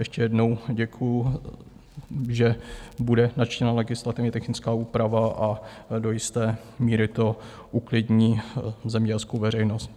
Ještě jednou děkuju, že bude načtena legislativně technická úprava a do jisté míry to uklidní zemědělskou veřejnost.